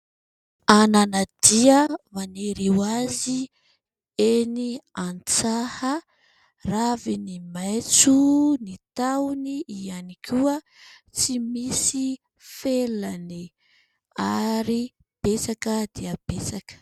Ananadia maniry ho azy eny an-tsaha, raviny maitso ny tahony ihany koa, tsy misy felany ary betsaka dia betsaka.